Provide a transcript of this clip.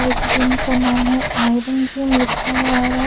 इस जिम का नाम है आयरन जिम लिखा हुआ आ--